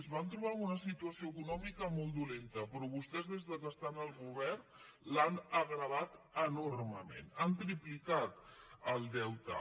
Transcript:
es van trobar amb una situació econòmica molt dolenta però vostès des que estan al govern l’han agreujat enormement han triplicat el deute